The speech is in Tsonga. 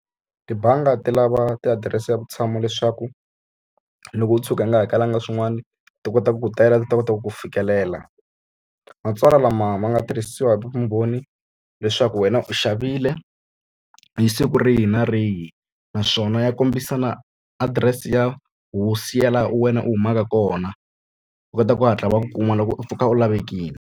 Tibangi ti lava tiadirese ya vutshamo leswaku loko u tshuka u nga hakelanga swin'wani ti kota ku ku tela, ti ta kota ku ku fikelela. Matsalwa lama ma nga tirhisiwa hi vumbhoni leswaku xa ku wena u xavile hi siku rihi na rihi. Naswona ya kombisa na adirese ya hosi ya laha wena u humaka kona, va kota ku hatla va ku kuma loko u pfuka u lavekile.